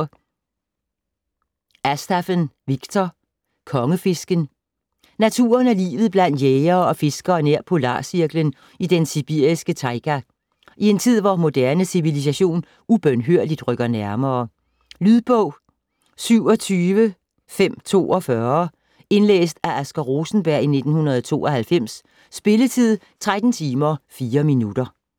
Astaf'ev, Viktor: Konge-fisken Naturen og livet blandt jægere og fiskere nær polarcirklen i den sibiriske tajga - i en tid hvor moderne civilisation ubønhørligt rykker nærmere. Lydbog 27542 Indlæst af Asger Rosenberg, 1992. Spilletid: 13 timer, 4 minutter.